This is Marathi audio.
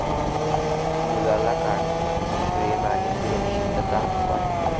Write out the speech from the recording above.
मुलाला काळजी, प्रेम आणि सुरक्षितता वाटते.